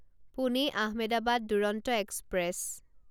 Pune Ahmedabad Duronto express